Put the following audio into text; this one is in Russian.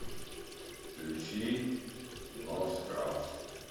включи ноу скрабс